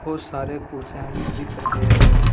बहुत सारे कुर्सियां भी दिख रहे हैं।